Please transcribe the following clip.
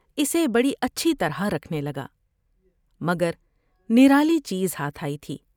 اسے بڑی اچھی طرح رکھنے لگا مگر نرالی چیز ہاتھ آئی تھی ۔